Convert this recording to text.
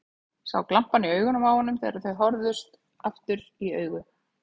Sá glampann í augunum á honum þegar þau horfðust aftur í augu.